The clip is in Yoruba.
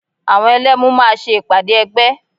Àwọn Ẹlẹ́mu máa ṣe ìpàdé ẹgbẹ́